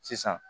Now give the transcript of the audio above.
Sisan